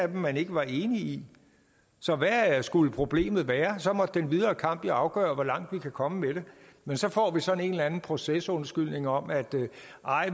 man ikke var enig i så hvad skulle problemet være så måtte den videre kamp jo afgøre hvor langt vi kunne komme med det men så får vi sådan en eller anden procesundskyldning om at